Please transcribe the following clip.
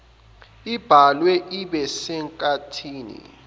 ibhalwe ibe senkathini